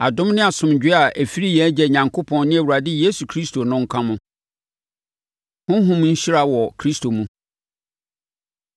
Adom ne asomdwoeɛ a ɛfiri yɛn Agya Onyankopɔn ne Awurade Yesu Kristo no nka mo. Honhom Nhyira Wɔ Kristo Mu